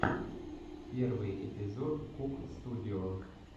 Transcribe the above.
первый эпизод кук студио